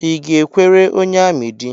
I ga-ekwere onye amị di?